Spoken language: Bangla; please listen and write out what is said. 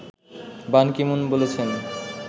বান কি মুন বলেছেন